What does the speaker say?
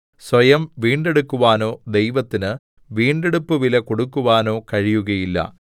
സ്വയം വീണ്ടെടുക്കുവാനോ ദൈവത്തിന് വീണ്ടെടുപ്പുവില കൊടുക്കുവാനോ കഴിയുകയില്ല